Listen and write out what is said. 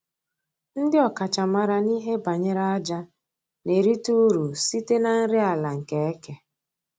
Ndị ọkachamara n'ihe banyere aja na-erita uru site na nri ala nke eke